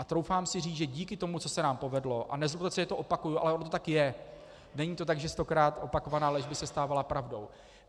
A troufám si říct, že díky tomu, co se nám povedlo - a nezlobte se, že to opakuji, ale ono to tak je, není to tak, že stokrát opakovaná lež by se stávala pravdou.